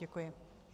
Děkuji.